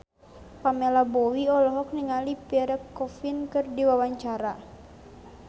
Pamela Bowie olohok ningali Pierre Coffin keur diwawancara